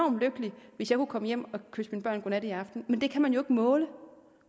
lykkelig hvis jeg kunne komme hjem og kysse mine børn godnat i aften men det kan man jo måle